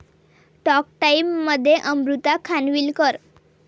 talk टाइममध्ये अमृता खानविलकर